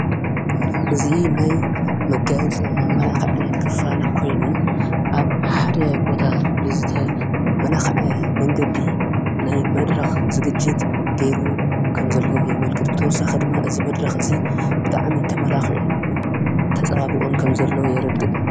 እዙ ናይ መጋያጽን መመላኽዕን ክፋል ኮይኑ ኣብ ሓደ ቦታ ብዝተመላኸዐ መንገዲ ናይ መድረኽ ዝግጅት ገይሩ ከም ዘለዎ የመልክት ብተወሳኺ ድማ እዚ መድረኽ እዙይ ብጣዕሚ ተመላኽዑን ተጸባቢቁን ከም ዘሎ የርድእ።